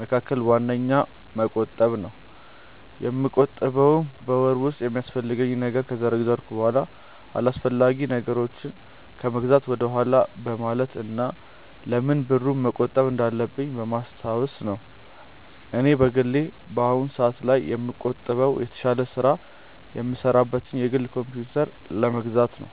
መካከል ዋነኛው መቆጠብ ነው። የምቆጥበውም በወር ውስጥ የሚያስፈልገኝን ነገር ከዘረዘርኩ በኋላ አላስፈላጊ ነገሮችን ከመግዛት ወደኋላ በማለት እና ለምን ብሩን መቆጠብ እንዳለብኝ በማስታወስ ነው። እኔ በግሌ በአሁኑ ሰአት ላይ የምቆጥበው የተሻለ ስራ የምሰራበትን የግል ኮምፕዩተር ለመግዛት ነው።